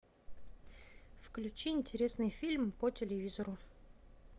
включи интересный фильм по телевизору